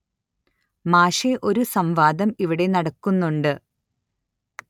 മാഷെ ഒരു സം വാദം ഇവിടെ നടക്കുന്നുണ്ട്